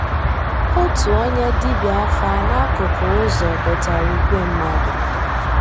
Ótú ónyé dìbíá àfà n'àkụ́kụ́ ụ́zọ̀ dòtárà ígwè mmàdú.